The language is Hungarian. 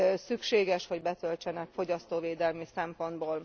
szükséges, hogy betöltsenek fogyasztóvédelmi szempontból.